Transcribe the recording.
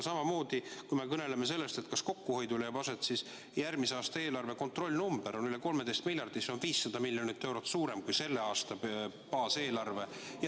Samamoodi, kui me kõneleme sellest, kas kokkuhoid leiab aset, siis tuleb öelda, et järgmise aasta eelarve kontrollnumber on üle 13 miljardi, see on 500 miljonit eurot suurem kui selle aasta baaseelarve.